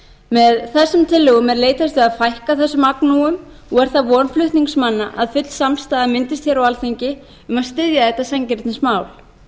með þessum tillögum er leitast við að fækka þessum agnúum og er það von flutningsmanna að full samstaða myndist hér á alþingi um að styðja þetta sanngirnismál